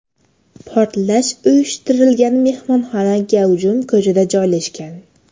Portlash uyushtirilgan mehmonxona gavjum ko‘chada joylashgan.